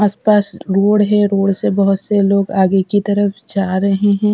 आस पास रोड है रोड से बहोत से लोग आगे की तरफ जा रहे हैं।